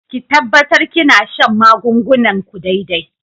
Ki tabbatar kina shan magungunan ku daidai.